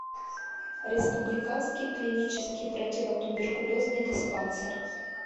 республиканский клинический противотуберкулезный диспансер